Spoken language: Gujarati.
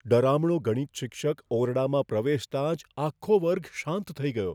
ડરામણો ગણિત શિક્ષક ઓરડામાં પ્રવેશતા જ આખો વર્ગ શાંત થઈ ગયો.